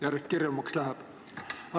Järjest kirjumaks läheb.